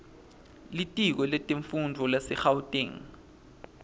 litiko letemfundvo lasegauteng